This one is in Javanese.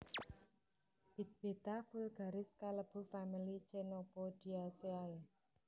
Bit Beta vulgaris kalebu famili Chenopodiaceae